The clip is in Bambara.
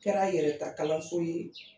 Kɛra yɛrɛta kalanso ye